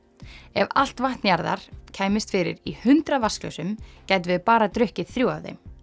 ef allt vatn jarðar kæmist fyrir í hundrað vatnsglösum gætum við bara drukkið þrjú af þeim